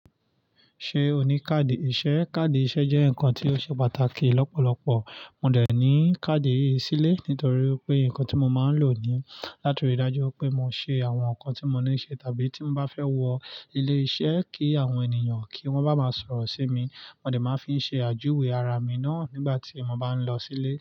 Ṣé o ní káàdì iṣẹ́? Káàdì iṣẹ́ jẹ́ nǹkan tí ó ṣe pàtàkì lọ́pọ̀lọpọ̀. Mo dẹ̀ ní káàdì iṣẹ́ sílé nítorí pé nǹkan tí mo máa ń lò ní, látiri ìdájú pé mo ṣe àwọn nǹkan tí mo níṣe tàbí tí mo bá fẹ́ wọ ilé iṣẹ́ kí àwọn ènìyàn kí wọ́n bá máa sọ̀rọ̀ sí mi, wọ́n dẹ̀ máa fi ń ṣe àjúwe ara mi náà nígbà tí mo bá ń lọ sílé.